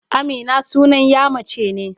Amina sunan ƴa mace ne.